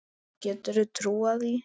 Getur þú trúað því?